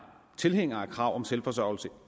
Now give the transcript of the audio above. tilhængere af kravet om selvforsørgelse